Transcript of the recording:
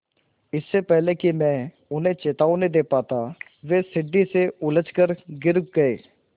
इससे पहले कि मैं उन्हें चेतावनी दे पाता वे सीढ़ी से उलझकर गिर गए